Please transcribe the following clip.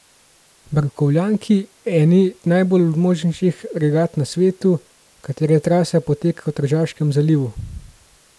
Barkovljanki, eni najbolj množičnih regat na svetu, katere trasa poteka v Tržaškem zalivu.